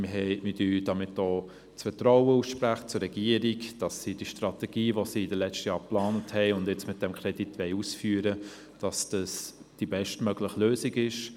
Wir sprechen damit auch der Regierung das Vertrauen aus, dass sie die Strategie, die sie während der letzten Jahre plante und die sie nun mit diesem Kredit ausführen will, die beste Lösung ist.